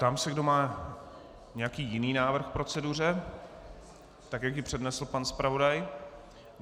Ptám se, kdo má nějaký jiný návrh k proceduře, tak jak ji přednesl pan zpravodaj.